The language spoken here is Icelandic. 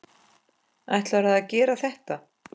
Ætlarðu að gera þetta?